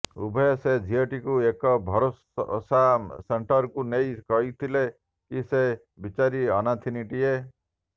ଉଭୟ ସେ ଝିଅଟିକୁ ଏକ ଭରୋସା ସେଣ୍ଟର୍କୁ ନେଇ କହିଥିଲେ କି ସେ ବିଚାରୀ ଅନାଥିନୀଟିଏ